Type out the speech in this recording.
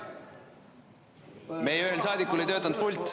Meie ühel saadikul ei töötanud pult.